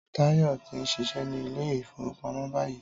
Táyọ̀ tí ń ṣiṣẹ́ ní Ilé-ìfowópamó báyìí